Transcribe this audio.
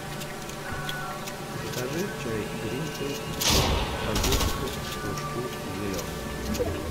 закажи чай гринфилд в пакетиках сто штук зеленый